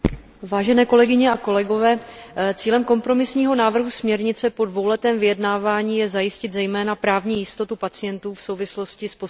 Cílem kompromisního návrhu směrnice po dvouletém vyjednávání je zajistit zejména právní jistotu pacientů v souvislosti s poskytováním přeshraniční zdravotní péče.